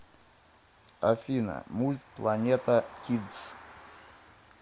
афина мульт планета кидс